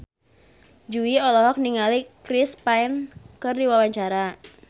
Jui olohok ningali Chris Pane keur diwawancara